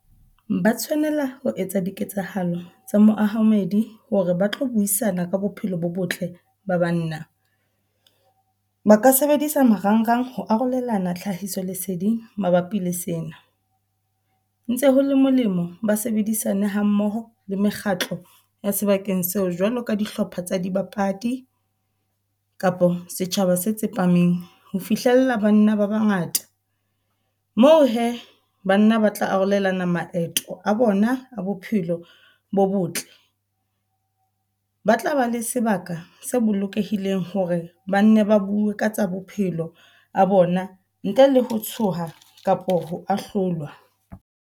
Ba tshwanela ho etsa diketsahalo tsa moamohedi hore ba tlo buisana ka bophelo bo botle ba banna. Ba ka sebedisa marangrang ho arolelana tlhahiso leseding mabapi le sena. Ntse ho le molemo ba sebedisane ha mmoho le mekgatlo ya sebakeng seo jwalo ka dihlopha tsa dibapadi kapa setjhaba se tsepameng. Ho fihlella banna ba ba ngata, moo he banna ba tla arolelana maeto a bona a bophelo bo botle. Ba tla ba le sebaka se bolokehileng hore ba nne ba bue ka tsa bophelo a bona, ntle le ho tshoha kapa ho a hlolwa.